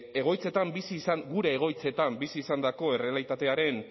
gure egoitzetan bizi izandako errealitatearen